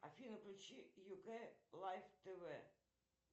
афина включи юк лайф тв